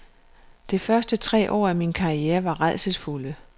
De første tre år af min karriere var rædselsfulde.